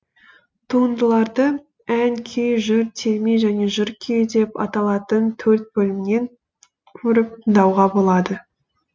туындыларды ән күй жыр терме және жыр күйі деп аталатын төрт бөлімнен көріп тыңдауға болады